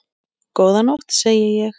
Góða nótt, segi ég.